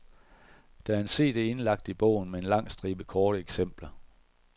Der er en cd indlagt i bogen med en lang stribe korte eksempler.